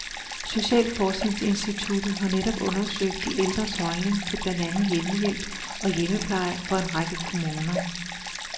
Socialforskningsinstituttet har netop undersøgt de ældres holdning til blandt andet hjemmehjælp og hjemmepleje for en række kommuner.